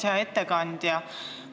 Hea ettekandja!